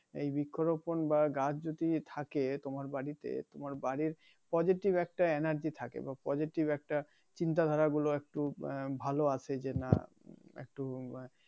এই বৃক্ষ রোপন বা গাছ যদি থাকে তোমার বাড়িতে তোমার বাড়ির পজেটিভ একটা energy থাকে বা পজেটিভ একটা চিন্তা ধারা গুলো একটু ভালো আসে যে নাহ একটু বাহ